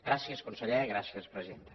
gràcies conseller gràcies presidenta